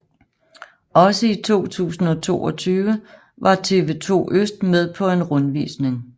Også i 2022 var TV2 Øst med på en rundvisning